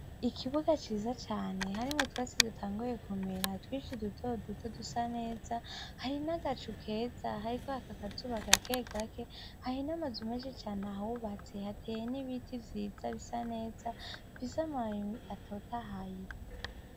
Ikibuga ciza cane hari mu twatsi dutanguye komera twishi duto duto dusa neza hari n'agacu ukeza hariko hakakazubaka kegake hahi n'amazu umeshi cane ahawubatse hateye n'ibiti vyiza bisa neza viza maabii atotahaye.